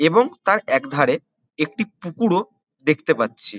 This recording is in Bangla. এবং তার একধারে একটি পুকুরও দেখতে পাচ্ছি।